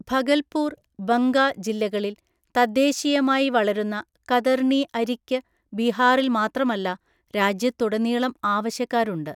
ഭഗൽപൂർ, ബങ്ക ജില്ലകളിൽ തദ്ദേശീയമായി വളരുന്ന കതർണി അരിക്ക് ബീഹാറിൽ മാത്രമല്ല, രാജ്യത്തുടനീളം ആവശ്യക്കാരുണ്ട്.